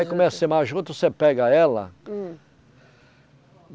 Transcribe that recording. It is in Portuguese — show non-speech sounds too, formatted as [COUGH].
[UNINTELLIGIBLE] a juta, você pega ela. hum [UNINTELLIGIBLE]